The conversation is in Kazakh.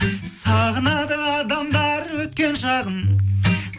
сағынады адамдар өткен шағын